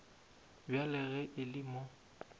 bjale ge e le mo